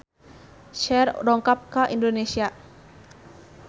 Cher dongkap ka Indonesia